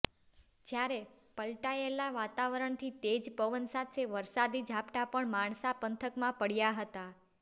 જ્યારે પલ્ટાયેલા વાતાવરણથી તેજ પવન સાથે વરસાદી ઝાપટા પણ માણસા પંથકમાં પડ્યા હતાં